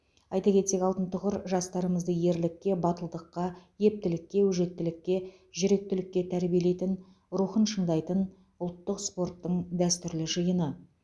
айта кетсек алтын тұғыр жастарымызды ерлікке батылдыққа ептілікке өжеттілікке жүректілікке тәрбиелейтін рухын шыңдайтын ұлттық спорттың дәстүрлі жиыны